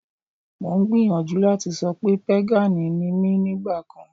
Mo ń gbìyànjú láti sọ pé pégànì ni mí nígbà kan